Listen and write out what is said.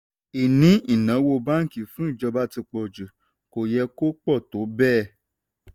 ìní ináwó báńkì fún ìjọba ti pọ̀ jù; kò yẹ kó pọ̀ tó bẹ́ẹ̀.